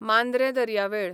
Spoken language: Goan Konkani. मांद्रें दर्यावेळ